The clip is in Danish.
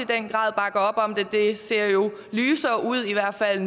den grad bakker op om det det ser jo lysere ud i hvert fald